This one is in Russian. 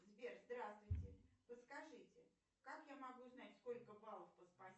сбер здравствуйте подскажите как я могу узнать сколько баллов по спасибо